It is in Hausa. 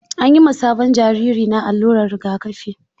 An yi ma sabon jariri na alluran rigakafi.